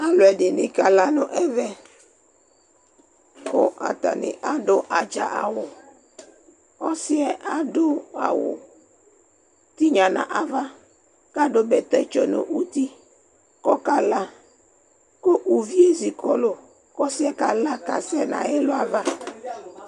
aloɛdini k'ala no ɛvɛ ko atani ado atsa awu ɔsiɛ ado awu tinya no ava ko ado bɛtɛ tsɔ no uti ko ɔkala ko uvie zikɔlò ko ɔsiɛ kala kasɛ n'ayɛlo ava